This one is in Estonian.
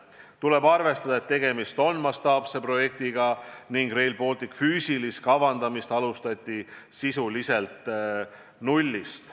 Tuleb arvestada, et tegemist on mastaapse projektiga ning Rail Balticu füüsilist kavandamist alustati sisuliselt nullist.